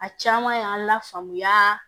A caman y'an lafaamuya